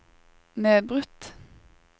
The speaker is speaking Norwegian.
nedbrutt